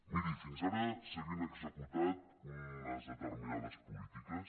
miri fins ara s’havien executat unes determinades polítiques